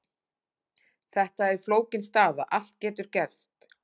Þetta er flókin staða, allt getur gerst.